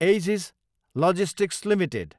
edges Logistics Ltd